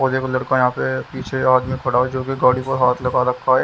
और देखो लड़का यहाँ पे पीछे आदमी खड़ा है जो कि गाड़ी पर हाथ लगा रखा है।